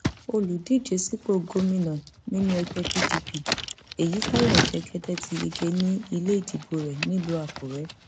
olùdíje sípò gómìnà nínú ẹgbẹ pdp èyítayọ jẹgẹdẹ ti yege ní ilé ìdìbò rẹ nílùú àkúrẹ